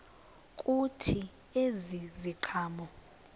kuthi ezi ziqhamo